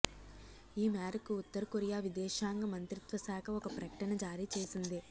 ఈ మేరకు ఉత్తరకొరియా విదేశాంగ మంత్రిత్వ శాఖ ఒక ప్రకటన జారీ చేసింది